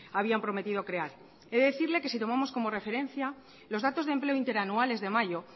habían prometido crear tengo que decirle que si tomamos como referencia los datos de empleo interanuales de mayo